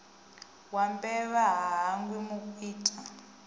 wa mbevha ha hangwi mukwita